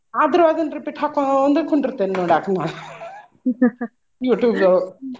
ಆದ್ರು ಅದನ್ನ್ repeat ಹಾಕ್ಕೊಂಡ್ br ಕುಂಡಿರ್ತೇನ್ ನೋಡಾಕ್ ನಾ YouTube ದೊಳಗ್.